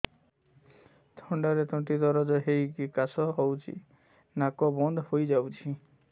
ଥଣ୍ଡାରେ ତଣ୍ଟି ଦରଜ ହେଇକି କାଶ ହଉଚି ନାକ ବନ୍ଦ ହୋଇଯାଉଛି